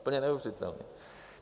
Úplně neuvěřitelné.